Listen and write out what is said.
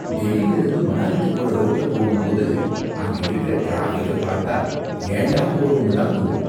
டெல்லில இருந்து மணாலிக்கு போற ரோட்ல போகும் போது, அங்க இருக்குற டிராபிக்க பார்த்தா ஏண்டா போறோம்னு தான் தோணும்.